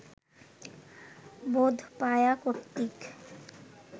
বোধপায়া কর্তৃক